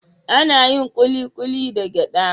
Ana yin kulikuli da gyada.